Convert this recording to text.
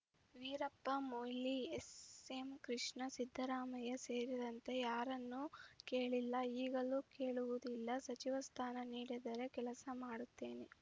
Veerappa Moily S M Krishna Siddaramaiah ಸೇರಿದಂತೆ ಯಾರನ್ನೂ ಕೇಳಿಲ್ಲ ಈಗಲೂ ಕೇಳುವುದಿಲ್ಲ ಸಚಿವ ಸ್ಥಾನ ನೀಡಿದರೆ ಕೆಲಸ ಮಾಡುತ್ತೇನೆ